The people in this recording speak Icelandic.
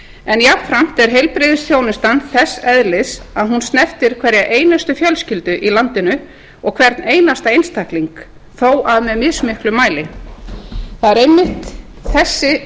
en jafnframt er heilbrigðisþjónustan þess eðlis að hún snertir hverja einustu fjölskyldu í landinu og hvern einasta einstakling þó í mismiklum mæli það er einmitt þessi